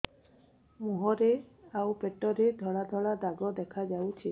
ମୁହଁରେ ଆଉ ପେଟରେ ଧଳା ଧଳା ଦାଗ ଦେଖାଯାଉଛି